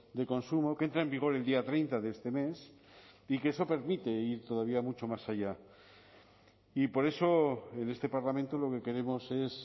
de consumo que entra en vigor el día treinta de este mes y que eso permite ir todavía mucho más allá y por eso en este parlamento lo que queremos es